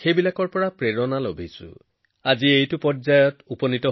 এই বছৰতে নাৰী শক্তি বন্দন আইন গৃহীত হয় যিটো বহু বছৰ ধৰি অপেক্ষা কৰি আছিল